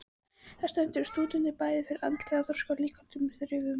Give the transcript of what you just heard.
Það stendur stúdentunum bæði fyrir andlegum þroska og líkamlegum þrifum.